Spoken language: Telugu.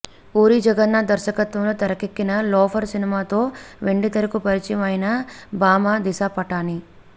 పూరి జగన్నాథ్ దర్శకత్వంలో తెరకెక్కిన లోఫర్ సినిమాతో వెండితెరకు పరిచయం అయిన భామ దిశ పటాని